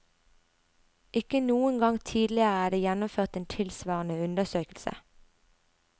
Ikke noen gang tidligere er det gjennomført en tilsvarende undersøkelse.